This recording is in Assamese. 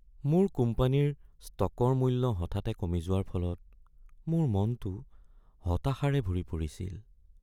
মোৰ কোম্পানীৰ ষ্টকৰ মূল্য হঠাতে কমি যোৱাৰ ফলত মোৰ মনটো হতাশাৰে ভৰি পৰিছিল।